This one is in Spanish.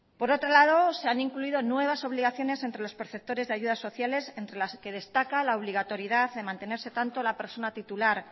por otro lado se han incluido nuevas obligaciones entre los perceptores de ayudas sociales entre las que destaca la obligatoriedad de mantenerse tanto la persona titular